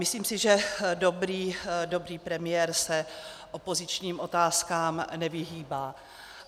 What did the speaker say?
Myslím si, že dobrý premiér se opozičním otázkám nevyhýbá.